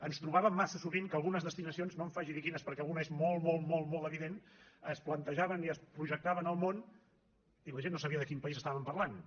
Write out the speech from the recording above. ens trobàvem massa sovint que algunes destinacions no em faci dir quines perquè alguna és molt molt evident es plantejaven i es projectaven al món i la gent no sabia de quin país parlàvem